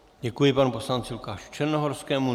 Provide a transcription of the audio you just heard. Děkuji panu poslanci Lukáši Černohorskému.